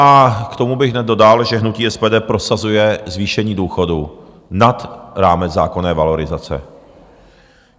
A k tomu bych hned dodal, že hnutí SPD prosazuje zvýšení důchodů nad rámec zákonné valorizace.